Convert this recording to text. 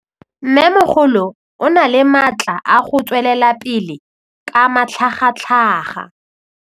Mmêmogolo o na le matla a go tswelela pele ka matlhagatlhaga.